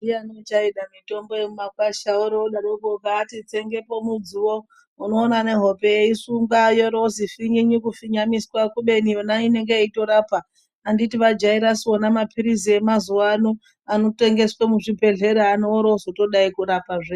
Ndiyani uchaida mitombo mitombo yemimakwasha vorodaroko kubati tsengepo mudziwo unoona nehope yeisunga yorozi finyinyi kufinyamiswa kubeni yona inenge yeitorapa antiti vajaisu vona mapirizi emazuvano anotengeswa muzvibhedlera anorozi odai kurapa.